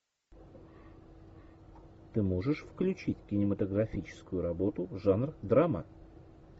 ты можешь включить кинематографическую работу жанр драма